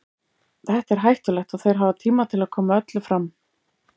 Þetta er hættulegt og þeir hafa tíma til að koma öllum fram.